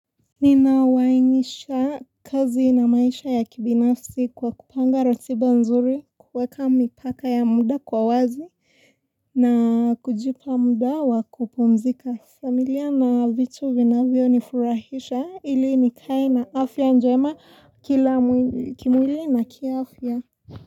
Ninauainisha kazi na maisha ya kibinafsi kwa kupanga ratiba nzuri, kuweka mipaka ya muda kwa wazi na kujipa muda wa kupumzika. Familia na vitu vinavyo nifurahisha ili nikae na afya njema kila kimwli na kiafya.